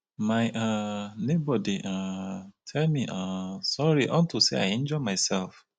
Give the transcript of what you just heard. my um neighbor dey um tell me um sorry unto say i injure myself